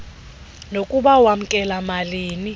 nokuba wamkela malini